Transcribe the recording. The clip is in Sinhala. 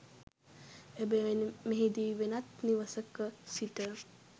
එබැවින් මෙහිදී වෙනත් නිවසක සිට